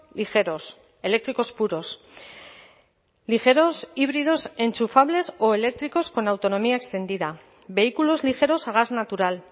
ligeros eléctricos puros ligeros híbridos enchufables o eléctricos con autonomía extendida vehículos ligeros a gas natural